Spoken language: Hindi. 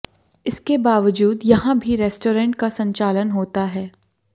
इसके बावजूद यहां भी रेस्टोरेंट का संचालन होता है